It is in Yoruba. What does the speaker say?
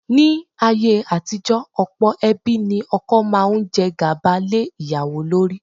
Ní ayé àtijọ́, ọ̀pọ̀ ẹbí ní ọkọ máa ń jẹ́ gàba lé ìyàwó lórí.